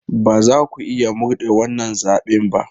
Ba za ku iya murde wannan zaɓen ba!